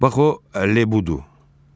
Bax o Lebu budur.